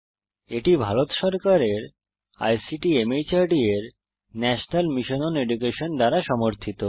এটি ভারত সরকারের আইসিটি মাহর্দ এর ন্যাশনাল মিশন ওন এডুকেশন দ্বারা সমর্থিত